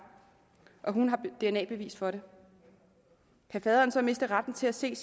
og at hun har dna bevis for det kan faderen så miste retten til at se